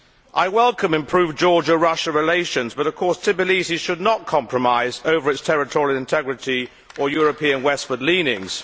I welcome improved Georgia Russia relations, but of course Tbilisi should not compromise over its territorial integrity or European westward leanings.